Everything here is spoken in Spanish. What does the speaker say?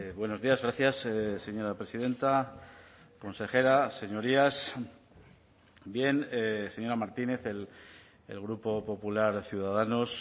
buenos días gracias señora presidenta consejera señorías bien señora martínez el grupo popular ciudadanos